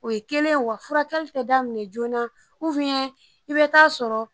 O ye kelen ye wa furakɛli te daminɛ joona uwiyɛn i be t'a sɔrɔ